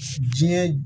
Diɲɛ